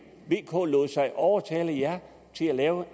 vk lod sig overtale af jer til at lave